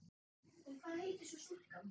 En hvað heitir svo stúlkan?